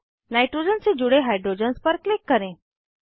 फिर नाइट्रोजन से जुड़े हाइड्रोजन्स पर क्लिक करें